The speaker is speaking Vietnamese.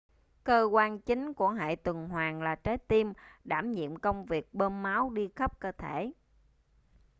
cơ quan chính của hệ tuần hoàn là trái tim đảm nhiệm công việc bơm máu đi khắp cơ thể